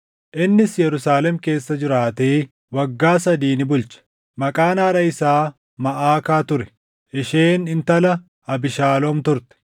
innis Yerusaalem keessa jiraatee waggaa sadii ni bulche. Maqaan haadha isaa Maʼakaa ture; isheen intala Abiishaaloom turte.